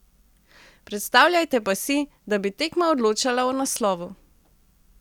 Predstavljajte pa si, da bi tekma odločala o naslovu.